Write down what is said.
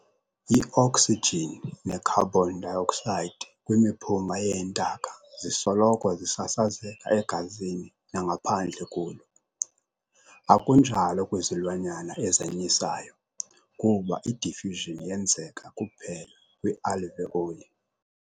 I-oksijini ne-carbon dioxide kwimiphunga yeentaka zisoloko zisasazeka egazini nangaphandle kulo, akunjalo kwizilwanyana ezanyisayo kuba i-diffusion yenzeka kuphela kwi-alveoli.